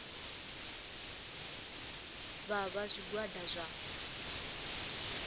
vha vha vha zwigwada zwa